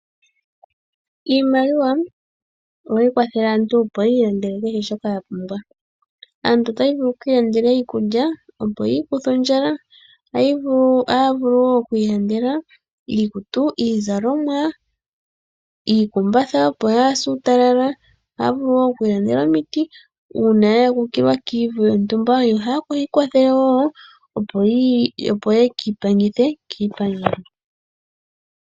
Iimaliwa ohayi kwathele aantu, opo yi ilandele kehe shoka ya pumbwa. Aantu otaya vulu yi ilandele iikulya, opo yi ikuthe ondjala. Otaya vulu wo oku iilandela iikutu, iizalomwa, iikumbatha, opo yaa se uutalala. Ohaya vulu wo oku ilandela omiti uuna ya akukilwa komavu gontumba, yo haya vulu wo opo ye ki ipangithe kiipangelo.